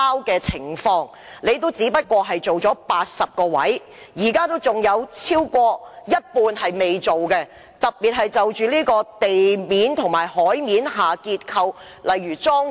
當局只在80個位置進行測試，仍有超過一半未進行測試，特別是地面及海面的結構，例如樁柱。